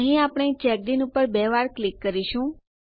અહીં આપણે ચેકિન ઉપર બે વાર ક્લિક કરીશું